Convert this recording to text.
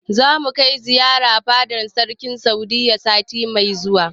Zamu kai ziyara fadar sarki a Saudiyya sati mai zuwa.